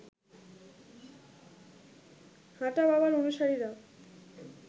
হাঁটা বাবার অনুসারীরা